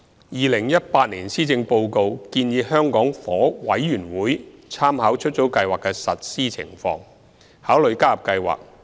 2018年施政報告建議香港房屋委員會參考出租計劃的實施情況，考慮加入計劃。